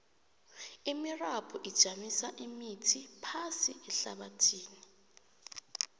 imirabhu ijamisa imithi phasi ehlabathini